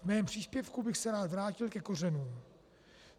V mém příspěvku bych se rád vrátil ke kořenům.